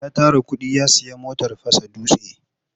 Ya tara kuɗi ya sayi motar fasa dutse.